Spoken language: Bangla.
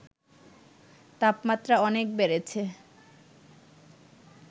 তাপমাত্রা অনেক বেড়েছে